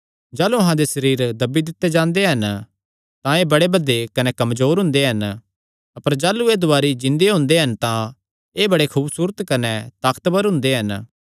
जाह़लू अहां दे सरीरे दब्बी दित्ते जांदे हन तां एह़ बड़े भदे कने कमजोर हुंदे हन अपर जाह़लू एह़ दुवारी जिन्दे हुंदे हन तां एह़ बड़े खूबसूरत कने ताकतवर हुंदे हन